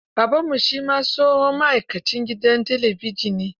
Babanmu shi ma tsohon ma'aikacin gidan talabijin ne.